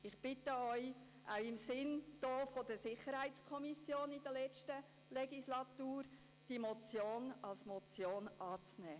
Ich bitte Sie, auch im Sinn der SiK der letzten Legislatur, diese Motion als Motion anzunehmen.